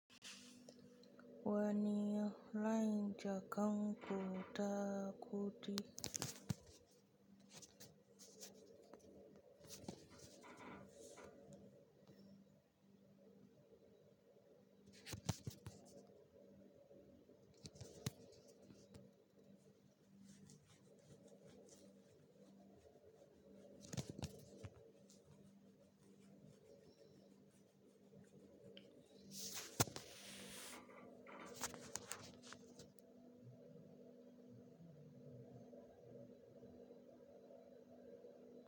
Wani layin jakar ku ta kuɗi?